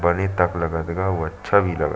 बने तक लगत गा अउ अच्छा भी लगल--